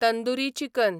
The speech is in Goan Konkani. तंदुरी चिकन